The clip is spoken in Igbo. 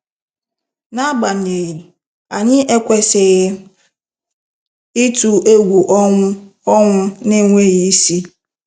N'agbanyeghị, anyị ekwesịghị ịtụ egwu ọnwụ ọnwụ na-enweghị isi.